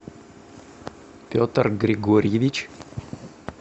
петр григорьевич